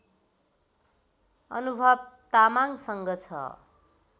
अनुभव तामाङसँग छ